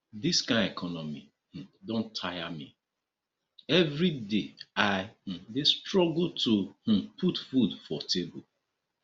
dis kain economy um don tire me everyday i um dey struggle to um put food for table